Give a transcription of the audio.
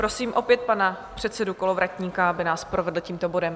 Prosím opět pana předsedu Kolovratníka, aby nás provedl tímto bodem.